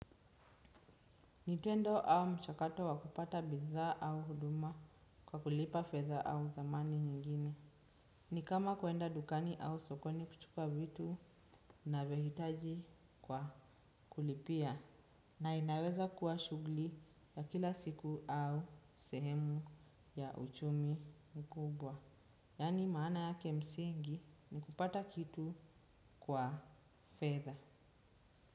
Ni tendo au mchakato wa kupata bidhaa au huduma kwa kulipa fedha au zamani nyingine. Ni kama kuenda dukani au sokoni kuchuka vitu unavyohitaji kwa kulipia na inaweza kuwa shughuli ya kila siku au sehemu ya uchumi mkubwa. Yaani maana yake msingi ni kupata kitu kwa fedha.